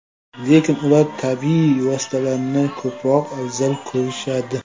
Lekin ular tabiiy vositalarni ko‘proq afzal ko‘rishadi.